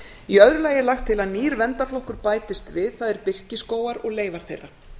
í öðru lagi er lagt til að nýr verndarflokkur bætist við það er birkiskógar og leifar þeirra